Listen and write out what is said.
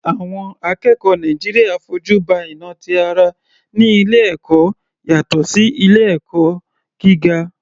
Àwọn akẹ́kọ̀ọ́ Nàìjíríà fojú ba ìnà ti ara ní ilé ẹ̀kọ́ yàtọ̀ sí ilé ẹ̀kọ́ gíga.